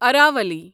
Aravalli